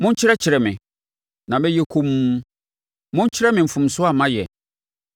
“Monkyerɛkyerɛ me, na mɛyɛ komm; monkyerɛ me mfomsoɔ a mayɛ.